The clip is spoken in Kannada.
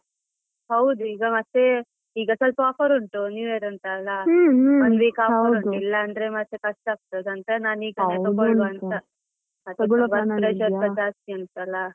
ಹೌದು ಈಗ ಮತ್ತೆ ಈಗ ಸ್ವಲ್ಪ offer ಉಂಟು new year ಅಂತ ಅಲ್ಲ ಇಲ್ಲ ಅಂದ್ರೆ ಮತ್ತೆ ಕಷ್ಟ ಆಗ್ತದ ಅಂತ ನಾನ್ ಈಗ ಅಂತ, ಸ್ವಲ್ಪ ಜಾಸ್ತಿ ಉಂಟಲ್ಲ.